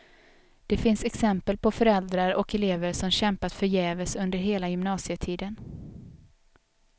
Det finns exempel på föräldrar och elever som kämpat förgäves under hela gymnasietiden.